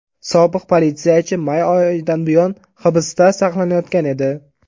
Sobiq politsiyachi may oxiridan buyon hibsda saqlanayotgan edi.